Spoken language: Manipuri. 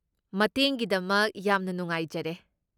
ꯃꯇꯦꯡꯒꯤꯗꯃꯛ ꯌꯥꯝꯅ ꯅꯨꯡꯉꯥꯏꯖꯔꯦ꯫